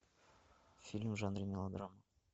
фильм в жанре мелодрама